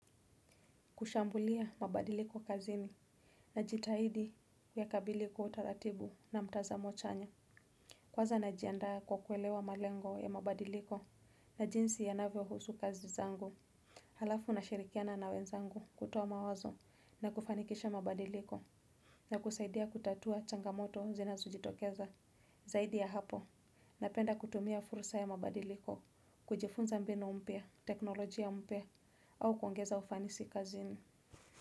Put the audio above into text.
Kushambulia mabadiliko kazini najitahidi yakabili kwa utaratibu na mtazamo chanya kwanza najianda kwa kuelewa malengo ya mabadiliko na jinsi yanavyo husu kazi zangu alafu na shirikiana na wenzangu kutoa mawazo na kufanikisha mabadiliko ya kusaidia kutatua changamoto zinajitokeza, zaidi ya hapo napenda kutumia fursa ya mabadiliko kujifunza mbinu mpya teknolojia mpya au kuongeza ufanisi kazini.